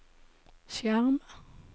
skjerm